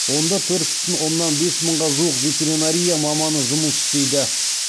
онда төрт бүтін оннан бес мыңға жуық ветеринария маманы жұмыс істейді